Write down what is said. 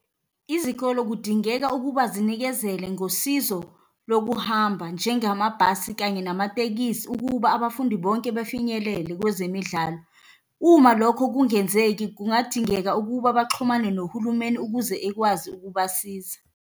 Izikolo kudingeka ukuba zinikezele ngosizo lokuhamba njengamabhasi kanye namatekisi ukuba abafundi bonke befinyelele kwezemidlalo. Uma lokho kungenzeki, kungadingeka ukuba baxhumane nohulumeni ukuze ekwazi ukubasiza.